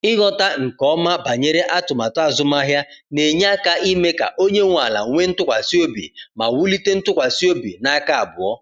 Ighọta nke ọma banyere atụmatụ azụmahịa na-enye aka ime ka onye nwe ala nwee ntụkwasị obi ma wulite ntụkwasị obi n’aka abụọ.